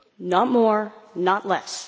not more not less.